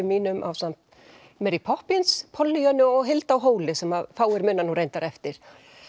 mínum ásamt Poppins Pollyönnu og Hildi á Hóli sem fáir muna nú reyndar eftir